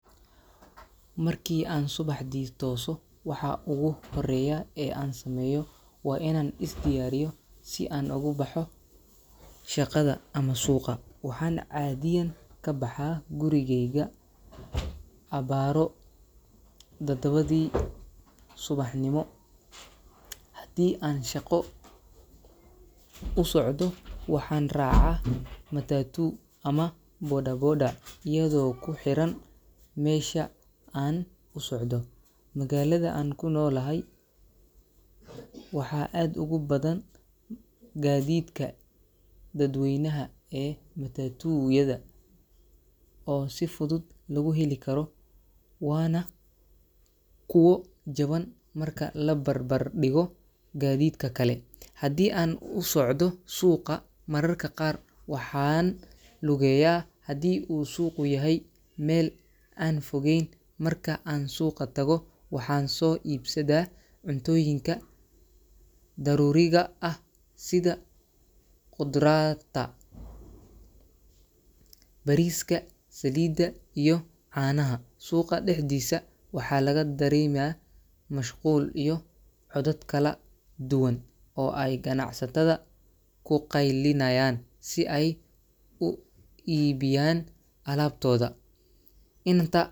Markii aan subaxdii tooso, waxa ugu horreeya ee aan sameeyo waa inaan is diyaariyo si aan ugu baxo shaqada ama suuqa. Waxaan caadiyan ka baxaa gurigeyga abaaro 7:00 subaxnimo. Haddii aan shaqo u socdo, waxaan raacaa matatu ama bodaboda iyadoo ku xiran meesha aan u socdo. Magaalada aan ku noolahay, waxaa aad ugu badan gaadiidka dadweynaha ee matatu-yada oo si fudud lagu heli karo, waana kuwo jaban marka la barbar dhigo gaadiidka kale. Haddii aan u socdo suuqa, mararka qaar waxaan lugeeyaa haddii uu suuqu yahay meel aan fogeyn. Marka aan suuqa tago, waxaan soo iibsadaa cuntooyinka daruuriga ah sida khudraa dda, bariiska, saliidda iyo caanaha. Suuqa dhexdiisa, waxaa laga dareemaa mashquul iyo codad kala duwan oo ay ganacsatada ku qaylinayaan si ay u iibiyaan alaabtooda. Inta.